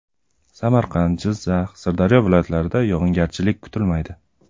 Samarqand, Jizzax, Sirdaryo viloyatlarida yog‘ingarchilik kutilmaydi.